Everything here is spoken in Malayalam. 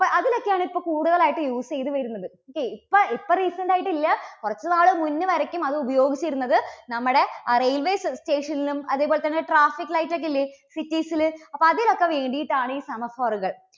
ഒക്കെയാണ് ഇപ്പോൾ കൂടുതൽ ആയിട്ട് use ചെയ്ത് വരുന്നത്. okay ഇപ്പോൾ ഇപ്പോ recent ആയിട്ട് ഇല്ല കുറച്ചു നാള് മുന്നേ വരേക്കും അത് ഉപയോഗിച്ചിരുന്നത് നമ്മുടെ ആ railway sta~station ലും അതേപോലെതന്നെ traffic light ഒക്കെ ഇല്ലേ city സില് ഒക്കെ അതിലൊക്കെ വേണ്ടിയിട്ടാണ് ഈ semaphore കൾ